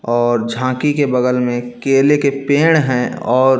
और झांकी के बगल मे केले के पेड़ है और--